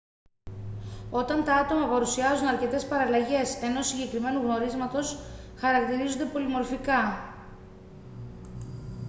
όταν τα άτομα παρουσιάζουν αρκετές παραλλαγές ενός συγκεκριμένου γνωρίσματος χαρακτηρίζονται πολυμορφικά